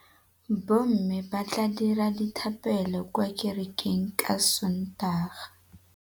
Bommê ba tla dira dithapêlô kwa kerekeng ka Sontaga.